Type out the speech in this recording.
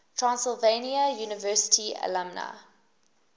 transylvania university alumni